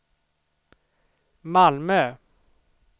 Malmö